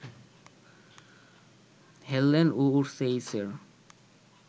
হেল্লেন ও ওর্সেইসের